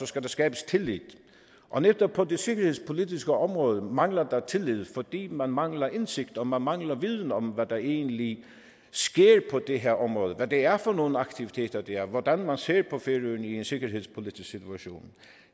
skal der skabes tillid og netop på det sikkerhedspolitiske område mangler der er tillid fordi man mangler indsigt og man mangler viden om hvad der egentlig sker på det her område hvad det er for nogle aktiviteter det er hvordan man ser på færøerne i en sikkerhedspolitisk situation